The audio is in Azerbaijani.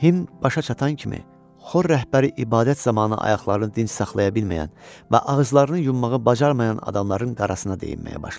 Himn başa çatan kimi xor rəhbəri ibadət zamanı ayaqlarını dinc saxlaya bilməyən və ağızlarını yummağı bacarmayan adamların qarasına dəyinməyə başladı.